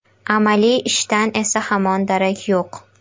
Amaliy ishdan esa hamon darak yo‘q.